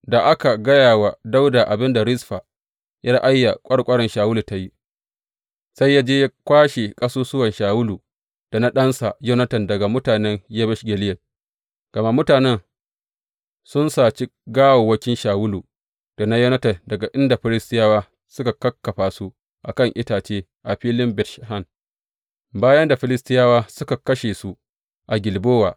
Da aka gaya wa Dawuda abin da Rizfa ’yar Aiya ƙwarƙwaran Shawulu ta yi, sai ya je ya kwashe ƙasusuwan Shawulu da na ɗansa Yonatan daga mutanen Yabesh Gileyad Gama mutanen sun saci gawawwakin Shawulu da Yonatan daga inda Filistiyawa suka kakkafa su a kan itace a filin Bet Shan, bayan da Filistiyawa suka kashe su a Gilbowa.